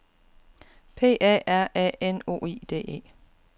P A R A N O I D E